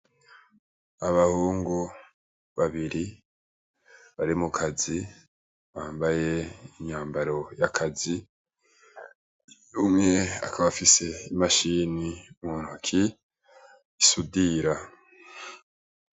Abahungu babiri bari mukazi bambaye imyambaro yakazi umwe akaba afise imashini muntoki isudira